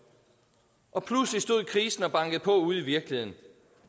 og pludselig stod krisen og bankede på ude i virkeligheden